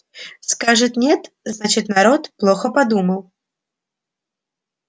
скажет нет значит народ плохо подумал